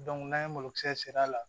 n'an ye malokisɛ la